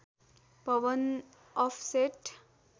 Bhavan offset